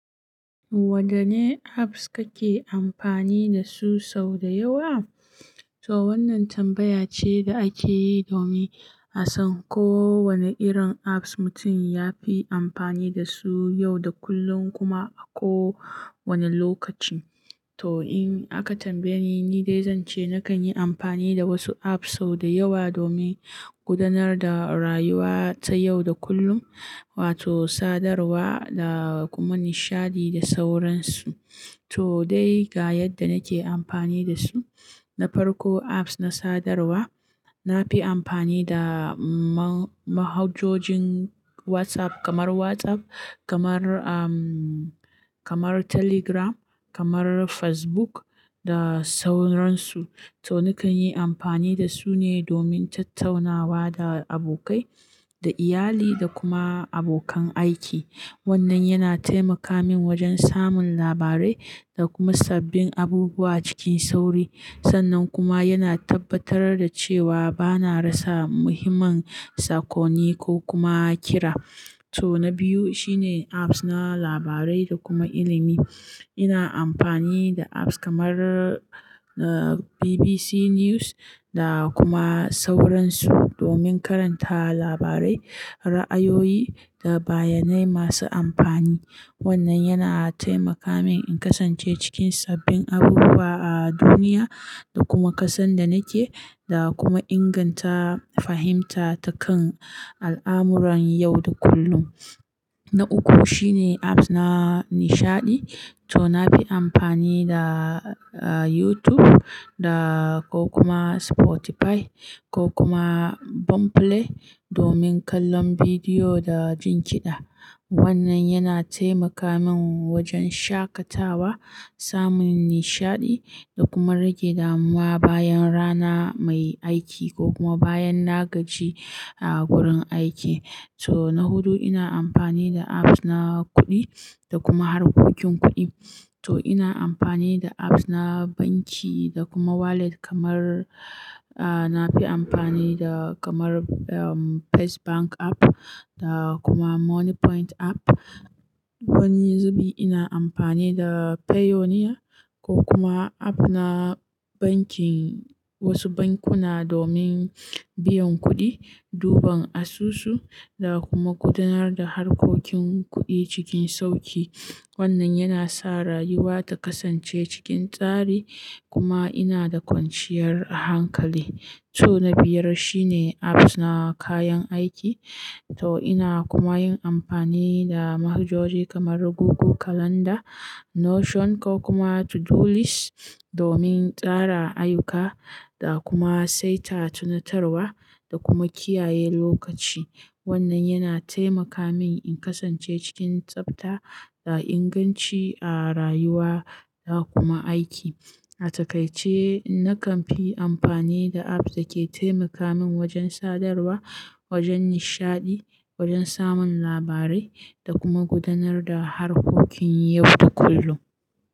Wadanne apps kake amfani da su sau da yawa? To wannan tambaya ce da ake yi domin a san ko wane irin apps mutum ya fi amfani da su yau da kullum kuma a ko wane lokaci. To in aka tambaye ni, ni dai zan ce nakan yi amfani da wasu apps sau da yawa domin gudanar da rayuwa ta yau da kullum wato sadarwa da kuma nishaɗi da sauransu. To dai ga yadda nake amfani da su. Na farko apps na sadarwa. Na fi amfani da mahajojin WhatsApp kamar WhatsApp, kamar, um, kamar Telegram, kamar Facebook da sauransu. To nakan yi amfani da su ne domin tattaunawa da abokai, da iyali da kuma abokan aiki. Wannan yana taimaka min wajen samun labarai da kuma sabbin abubuwa cikin sauri. Sannan kuma yana tabbatar da cewa bana rasa muhimman sakonni ko kuma kira. To na biyu shine apps na labarai da kuma ilimi. Ina amfani da apps kamar BBC News da kuma sauransu domin karanta labarai, ra'ayoyi da bayanai masu amfani. Wannan yana taimaka min in kasance cikin sabbin abubuwa a duniya da kuma kasan da nake da kuma inganta fahimta ta kan al'amuran yau da kullum. Na uku shine apps na nishaɗi. To na fi amfani da YouTube da ko kuma Spotify ko kuma Boomplay domin kallon bidiyo da jin kiɗa. Wannan yana taimaka min wajen shaƙatawa, samun nishaɗi da kuma rage damuwa bayan rana mai aiki ko kuma bayan na gaji a wurin aiki. To na hudu ina amfani da apps na kuɗi da kuma harkokin kuɗi. To ina amfani da apps na banki da kuma wallet kamar, a, na fi amfani da kamar First Bank app da kuma Money Point app. Wani zubi ina amfani da Payoneer ko kuma app na bankin wasu bankuna domin biyan kuɗi, duban asusu da kuma gudanar da harkokin kuɗi cikin sauki. Wannan yana sa rayuwa ta kasance cikin tsari kuma ina da kwanciyar hankali. To na biyar shine apps na kayan aiki. To ina kuma yin amfani da mahajoji kamar Google Calendar, Notion ko kuma Todolist domin kara ayyuka da kuma saita tunatarwa da kuma kiyaye lokaci. Wannan yana taimaka min in kasance cikin tsabta da inganci a rayuwa da kuma aiki. A takaice, nakan yi amfani da apps da ke taimaka min wajen sadarwa, wajen nishaɗi, wajen samun labarai da kuma gudanar da harkokin yau da kullum.